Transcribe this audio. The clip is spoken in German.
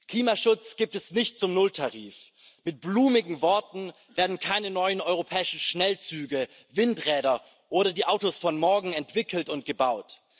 Klimaschutz gibt es nicht zum Nulltarif, mit blumigen Worten werden keine neuen europäischen Schnellzüge, Windräder oder die Autos von morgen entwickelt und gebaut.